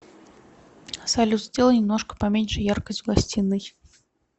салют сделай немножко поменьше яркость в гостиной